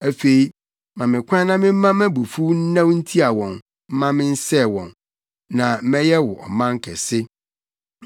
Afei, ma me kwan na memma mʼabufuw nnɛw ntia wɔn mma mensɛe wɔn. Na mɛyɛ wo ɔman kɛse.”